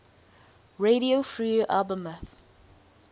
radio free albemuth